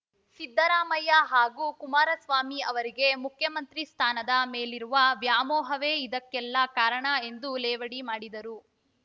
ಸಿದ್ದರಾಮಯ್ಯ ಹಾಗೂ ಕುಮಾರಸ್ವಾಮಿ ಅವರಿಗೆ ಮುಖ್ಯಮಂತ್ರಿ ಸ್ಥಾನದ ಮೇಲಿರುವ ವ್ಯಾಮೋಹವೇ ಇದಕ್ಕೆಲ್ಲಾ ಕಾರಣ ಎಂದು ಲೇವಡಿ ಮಾಡಿದರು